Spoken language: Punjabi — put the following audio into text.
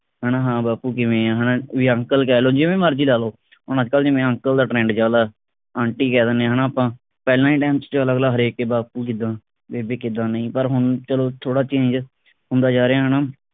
ਹਣਾ ਹਾਂ ਬਾਪੂ ਕਿਵੇਂ ਆ ਹਣਾ ਤੁਹੀ uncle ਕਹਿ ਲੋ ਜਿਵੇਂ ਮਰਜੀ ਲਾ ਲੋ ਹੁਣ ਅੱਜਕਲ ਜਿਵੇਂ uncle ਦਾ trend ਚਲਦਾ aunty ਕਹਿ ਦਿੰਦੇ ਹਣਾ ਆਪਾ ਪਹਿਲਾਂ ਦੇ time ਵਿਚ ਅਗਲਾ ਹਰੇਕ ਕੇ ਬਾਪੂ ਕਿੱਦਾਂ ਬੇਬੇ ਕਿੱਦਾਂ ਨਹੀਂ ਪਰ ਹੁਣ ਚਲੋ ਥੋੜਾ change ਹੁੰਦਾ ਜਾ ਰਿਹਾ ਹਣਾ